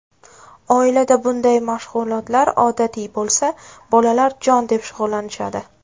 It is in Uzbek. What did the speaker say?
Oilada bunday mashg‘ulotlar odatiy bo‘lsa, bolalar jon deb shug‘ullanishadi.